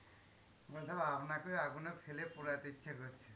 আপনাকে ওই আগুনে ফেলে পোড়াইতে ইচ্ছে করছে।